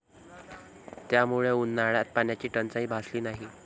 त्यामुळे उन्हाळ्यात पाण्याची टंचाई भासली नाही.